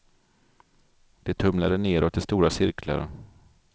Det tumlade nedåt i stora cirklar.